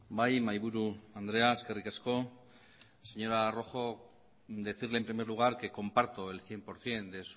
bai mahaiburu andrea eskerrik asko señora rojo decirle en primer lugar que comparto el cien por ciento de